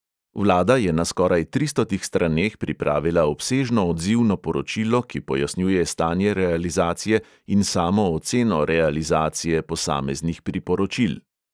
Vlada je na skoraj tristotih straneh pripravila obsežno odzivno poročilo, ki pojasnjuje stanje realizacije in samo oceno realizacije posameznih priporočil.